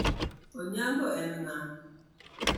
Onyango en ng`a?